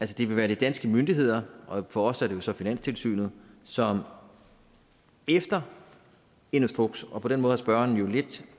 det vil være de danske myndigheder og for os er det jo så finanstilsynet som efter en instruks og på den måde har spørgeren jo lidt